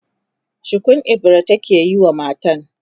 shukun ibira take yi wa matan